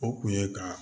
O kun ye ka